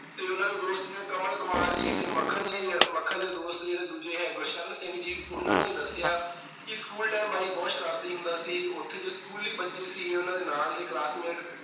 ਤੇ ਉਹਨਾਂ ਦੇ ਦੋਸਤ ਜਿਵੇਂ ਕਮਲ ਕੁਮਾਰ ਜੀ ਤੇ ਮੱਖਣ ਜੀ, ਮੱਖਣ ਦੇ ਦੋਸਤ ਜਿਹੜੇ ਦੂਜੇ ਹੈ - ਗੁਰਸ਼ਰਨ ਸਿੰਘ ਜੀ, ਉਹਨਾਂ ਨੇ ਦੱਸਿਆ ਕਿ school time ਬਾਈ ਬਹੁਤ ਸ਼ਰਾਰਤੀ ਹੁੰਦਾ ਸੀ। ਉਥੇ ਜੋ ਸਕੂਲੀ ਬੱਚੇ ਸੀ, ਉਨ੍ਹਾਂ ਦੇ ਨਾਲ ਦੇ classmate